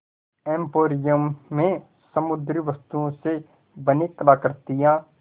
emporium में समुद्री वस्तुओं से बनी कलाकृतियाँ